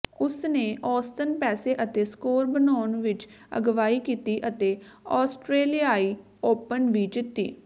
ਉਸ ਨੇ ਔਸਤਨ ਪੈਸੇ ਅਤੇ ਸਕੋਰ ਬਣਾਉਣ ਵਿੱਚ ਅਗਵਾਈ ਕੀਤੀ ਅਤੇ ਆਸਟਰੇਲਿਆਈ ਓਪਨ ਵੀ ਜਿੱਤੀ